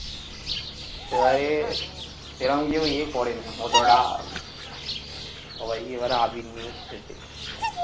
এবারে সেরম কিন্তু ইয়ে পরেনি, অতটা সবাই এবারে মানে আবির নিয়েই খেলেছে।